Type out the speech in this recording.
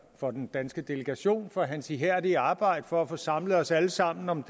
for den danske delegation for hans ihærdige arbejde for at få samlet os alle sammen om